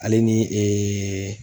Ale ni ee